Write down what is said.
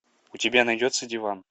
у тебя найдется диван